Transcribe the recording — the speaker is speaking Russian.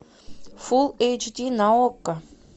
фул эйч ди на окко